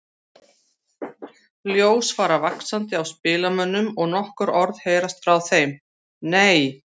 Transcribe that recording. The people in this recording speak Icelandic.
Ljós fara vaxandi á spilamönnum og nokkur orð heyrast frá þeim: Nei!